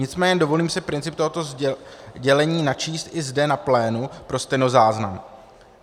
Nicméně dovolím si princip tohoto dělení načíst i zde na plénu pro stenozáznam.